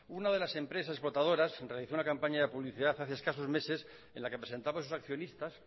una de las empresas explotadoras realizó una campaña de publicidad hace escasos meses en la que presentaba a sus accionistas